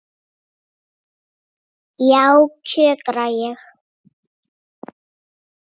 Já, kjökra ég.